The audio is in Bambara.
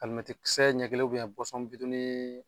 Alimɛti kisɛ ɲɛ kelen bitɔnni